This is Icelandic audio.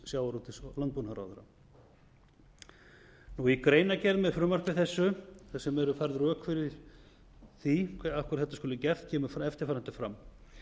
sjávarútvegs og landbúnaðarráðherra í greinargerð með frumvarpi þessu þar sem eru færð rök fyrir því af hverju þetta skuli gert kemur eftirfarandi fram